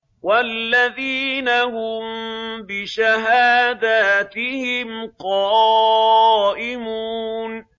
وَالَّذِينَ هُم بِشَهَادَاتِهِمْ قَائِمُونَ